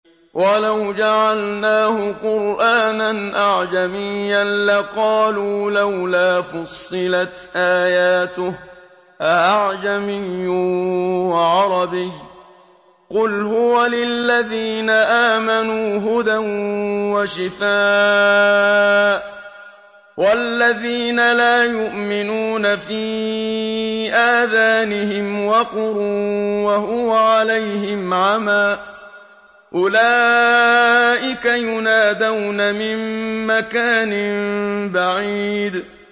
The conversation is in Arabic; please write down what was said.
وَلَوْ جَعَلْنَاهُ قُرْآنًا أَعْجَمِيًّا لَّقَالُوا لَوْلَا فُصِّلَتْ آيَاتُهُ ۖ أَأَعْجَمِيٌّ وَعَرَبِيٌّ ۗ قُلْ هُوَ لِلَّذِينَ آمَنُوا هُدًى وَشِفَاءٌ ۖ وَالَّذِينَ لَا يُؤْمِنُونَ فِي آذَانِهِمْ وَقْرٌ وَهُوَ عَلَيْهِمْ عَمًى ۚ أُولَٰئِكَ يُنَادَوْنَ مِن مَّكَانٍ بَعِيدٍ